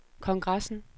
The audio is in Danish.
kongressen